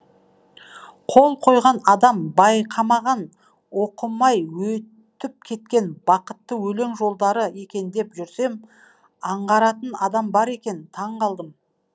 қол қойған адам байқамаған оқымайөтіп кеткен бақытты өлең жолдары екен деп жүрсем аңғаратын адам бар екен таң қалдым